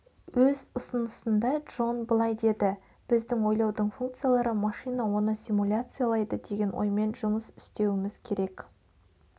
өз ұсынысында джон былай деді біздің ойлаудың функциялары машина оны симуляциялайды деген оймен жұмыс істеуіміз керек